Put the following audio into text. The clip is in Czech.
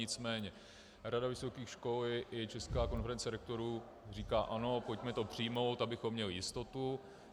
Nicméně Rada vysokých škol i Česká konference rektorů říká ano, pojďme to přijmout, abychom měli jistotu.